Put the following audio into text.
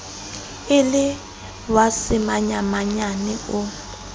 e le wa semanyamanyane o